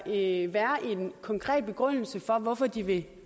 en konkret begrundelse for hvorfor de vil